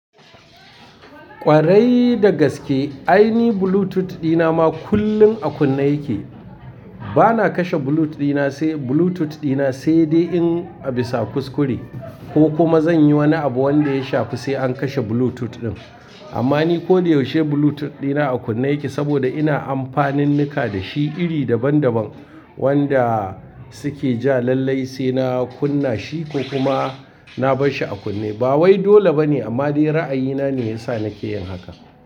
Ƙwarai dagaske aini Bluetooth dina ma kullum a kunne yake. Bana kashe Bluetooth dina sai Bluetooth dina sai in in bisa kuskure ko kuma zan yi wani abu wanda ya shafi sai an kashe Bluetooth ɗin. Amma ni ko da yaushe Bluetooth dina a kunne yake saboda ina amfanin nika da shi iri daban daban wanda suke ja lallai sai na kunna shi ko kuma na barshi a kunne. Ba wai dole bane amma dai ra'ayina ne ya sa nake yin haka.